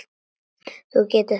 Þú getur allt.